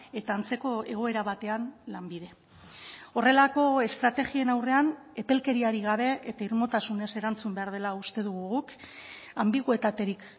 eta antzeko egoera batean lanbide horrelako estrategien aurrean epelkeriarik gabe eta irmotasunez erantzun behar dela uste dugu guk anbiguetaterik